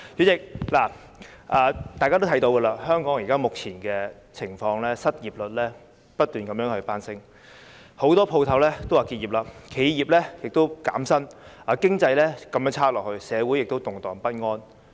主席，大家也看到香港目前的情況，失業率不斷攀升，很多店鋪也打算結業，企業亦減薪，經濟繼續滑落，社會亦動盪不安。